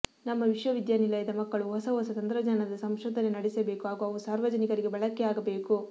ನಮ್ಮ ವಿಶ್ವವಿದ್ಯಾನಿಲಯದ ಮಕ್ಕಳು ಹೊಸ ಹೊಸ ತಂತ್ರಜ್ಞಾನದ ಸಂಶೋಧನೆ ನಡೆಸಬೇಕು ಹಾಗೂ ಅವು ಸಾರ್ವಜನಿಕರಿಗೆ ಬಳಕೆಯಾಗಬೇಕು